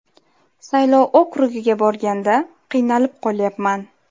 Saylov okrugiga borganda qiynalib qolyapman.